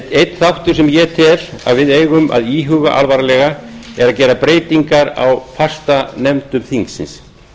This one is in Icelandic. einn þáttur sem ég tel að við eigum að íhuga alvarlega er að gera breytingar á fastanefndum þingsins